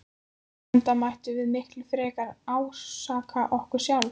Enda mættum við miklu frekar ásaka okkur sjálf.